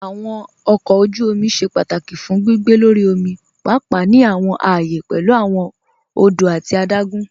Awọn ọkọ ojú òmì ṣẹ́ pátákì fún gbìgbé lọ́rí òmì, páàpáà ní awọn ààyẹ̀ pẹ̀lú awọn òdò àti àdágùn.